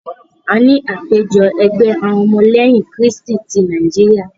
A ní àpéjọ ẹgbẹ́ àwọn ọmọ lẹ́yìn krístì tí Nàíjíríà.